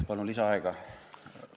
Palun lisaaega!